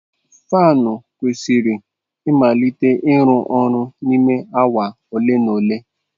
Fanụ kwesịrị ịmalite ịrụ ọrụ n'ime awa ole na ole.